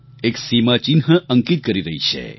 એક સીમાચિહ્ન અંકિત કરી રહી છે